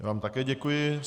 Já vám také děkuji.